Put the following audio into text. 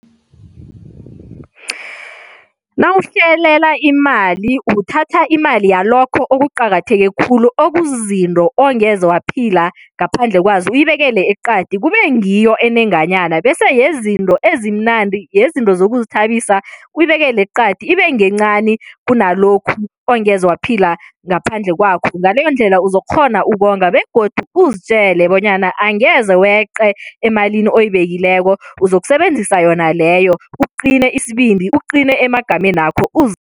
Nawuhlelela imali, uthatha imali yalokho okuqakatheke khulu, okuzizinto ongeze waphila ngaphandle kwazo, uyibekele eqadi, kube ngiyo enenganyana bese yezinto ezimnandi, yezinto zokuzithabisa uyibekela eqadi ibe ngencani kunalokhu ongeze waphila ngaphandle kwakho. Ngaleyondlela, uzokukghona ukonga begodu uzitjele bonyana angeze weqe emalini oyibekileko, uzokusebenzisa yona leyo. Uqine isibindi, uqine emagamenakho,